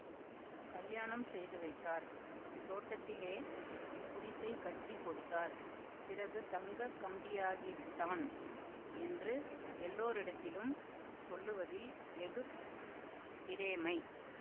கல்யாணம் செய்து வைத்தார் தோட்டத்திலே குடிசை கட்டி கொடுத்தார் பிறகு தங்க கம்பியாகிவிட்டான் என்று எல்லோரிடத்திலும் சொல்லுவதில் வெகு பிரேமை